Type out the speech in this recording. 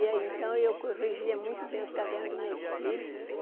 E aí, então, eu corrigia muito bem os cadernos dos meus filhos.